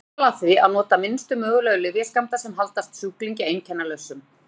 Stefnt skal að því að nota minnstu mögulegu lyfjaskammta sem halda sjúklingi einkennalausum.